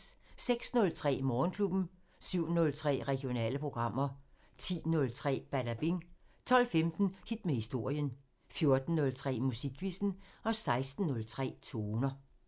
06:03: Morgenklubben 07:03: Regionale programmer 10:03: Badabing 12:15: Hit med historien 14:03: Musikquizzen 16:03: Toner